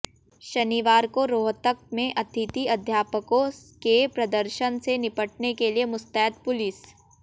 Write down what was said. शनिवार को रोहतक में अतिथि अध्यापकों के प्रदर्शन से निपटने के लिए मुस्तैद पुलिस